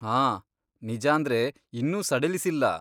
ಆ, ನಿಜಾಂದ್ರೆ ಇನ್ನೂ ಸಡಿಲಿಸಿಲ್ಲ.